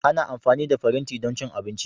Ana amfani da faranti don cin abinci.